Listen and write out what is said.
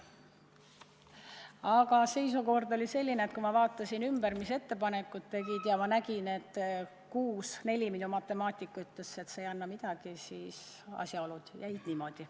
Aga seisukord oli selline, et kui ma vaatasin ümberringi, mis ettepanekuid tehti, ja ma nägin, et oli 6 : 4, siis minu matemaatika ütles, et see ei anna midagi, ja asjaolud jäid niimoodi.